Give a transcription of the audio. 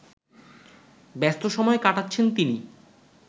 ব্যস্ত সময় কাটাচ্ছেন তিনি